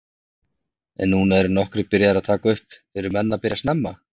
En nú eru nokkrir byrjaðir að taka upp, eru menn að byrja snemma?